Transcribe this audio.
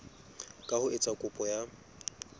ka ho etsa kopo ya